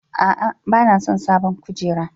A'a, ba na son sabon kujera.